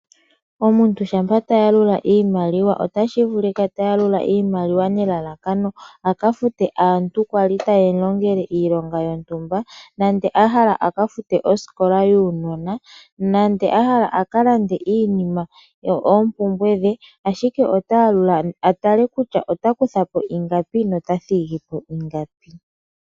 Omuntu shampa ta yalula iimaliwa otashivulika tayalula iimaliwa nelalakano akafute aantu kwali ta ye mulongele iilonga yontumba nande ahala akafute oaukola yuunona nande ahala aka lande iinima nenge oompumbwe dhe ashike otaya lula atale kutya otakuthapo ingapi no ta thigipo ingapi.